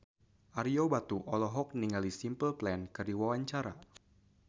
Ario Batu olohok ningali Simple Plan keur diwawancara